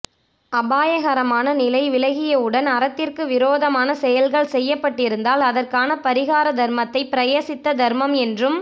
அபாயகரமான நிலை விலகிய உடன் அறத்திற்கு விரோதமான செயல்கள் செய்யப்பட்டிருந்தால் அதற்கான பரிகார தர்மத்தை பிரயசித்த தர்மம் என்றும்